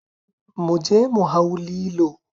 Mu je mu hau lilo